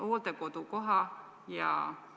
Osa hooldekodukohti maksab suisa 1000 eurot ja isegi rohkem.